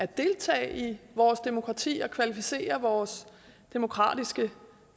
deltage i vores demokrati og kvalificere vores demokratiske